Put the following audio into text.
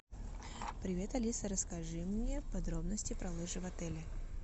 привет алиса расскажи мне подробности про лыжи в отеле